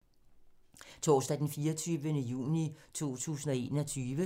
Torsdag d. 24. juni 2021